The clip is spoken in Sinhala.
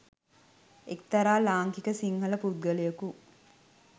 එක්‌තරා ලාංකික සිංහල පුද්ගලයකු